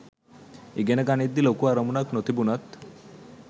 ඉගෙන ගනිද්දි ලොකු අරමුණක් නොතිබුණත්